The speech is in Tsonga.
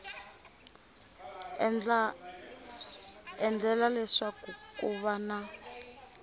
endlela leswaku ku va na